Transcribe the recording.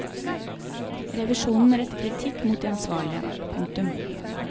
Revisjonen retter kritikk mot de ansvarlige. punktum